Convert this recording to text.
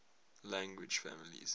language families